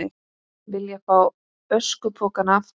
Vilja fá öskupokana aftur